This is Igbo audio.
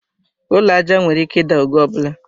Ụlọ aja nwere ike ida oge ọbula